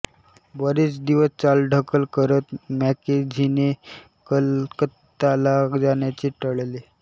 बरेच दिवस चालढकल करत मॅकेन्झींने कलकत्ताला जाण्याचे टळले